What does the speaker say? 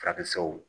Farafinw